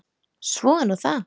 Svo er nú það.